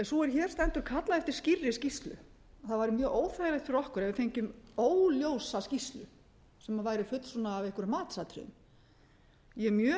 sú er hér stendur kallaði eftir skýrri skýrslu það væri mjög óþægilegt fyrir okkur ef við fengjum óljósa skýrslu sem væri full af einhverjum matsatriðum ég er mjög